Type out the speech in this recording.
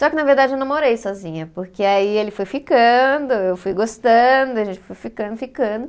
Só que na verdade eu não morei sozinha, porque aí ele foi ficando, eu fui gostando, a gente foi ficando, ficando.